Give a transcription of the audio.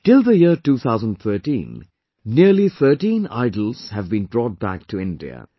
Till the year 2013, nearly 13 idols had been brought back to India